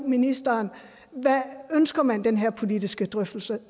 ministeren ønsker man den her politiske drøftelse